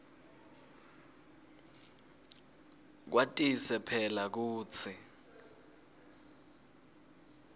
kwatise phela kutsi